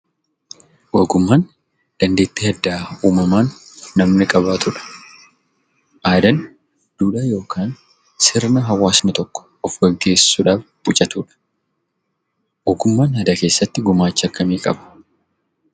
Ogummaan dandeettii addaa uumamaan namni qabaatudha. Aadaan duudhaa yokaan sirna hawaasni tokko of geggeessudhaaf bulchatudha. Ogummaan aadaa keessatti gumaacha akkamii qaba?